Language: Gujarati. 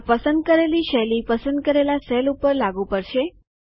આ પસંદ કરેલી શૈલી પસંદ કરેલા સેલ ઉપર લાગુ પડશે